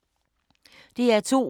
DR2